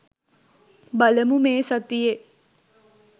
බලමු මේ සතියේ